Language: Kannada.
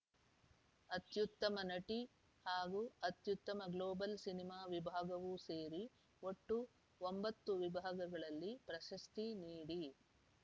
ಅತ್ಯುತ್ತಮ ನಟಿ ಹಾಗೂ ಅತ್ಯುತ್ತಮ ಗ್ಲೋಬಲ್‌ ಸಿನಿಮಾ ವಿಭಾಗವೂ ಸೇರಿ ಒಟ್ಟು ಒಂಬತ್ತು ವಿಭಾಗಗಳಲ್ಲಿ ಪ್ರಶಸ್ತಿ ನೀಡಿ